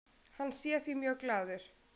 Hann sé því mjög glaður.